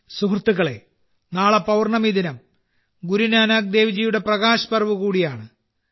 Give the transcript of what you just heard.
സുഹൃത്തുക്കളേ നാളെ പൌർണ്ണമി ദിനം ഗുരുനാനാക്ക് ദേവ് ജിയുടെ പ്രകാശ് പർവ് കൂടിയാണ്